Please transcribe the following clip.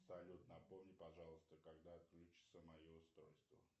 салют напомни пожалуйста когда отключится мое устройство